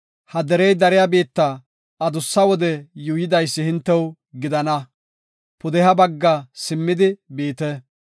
“Ha derey dariya biitta adussa wode yuuyidaysi hintew gidana; pudeha bagga simmidi biite.